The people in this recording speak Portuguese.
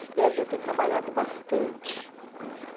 Espero já ter trabalhado bastante.